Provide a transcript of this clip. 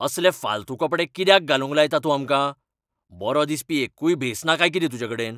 असले फालतू कपडे कित्याक घालूंक लायता तूं आमकां? बरो दिसपी एक्कूय भेस ना काय कितें तुजेकडेन?